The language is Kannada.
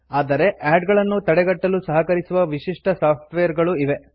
ಆದರೆ ಆಡ್ ಗಳನ್ನು ತಡೆಗಟ್ಟಲು ಸಹಕರಿಸುವ ವಿಶಿಷ್ಟ ಸಾಫ್ಟ್ವೇರ್ ಗಳೂ ಇವೆ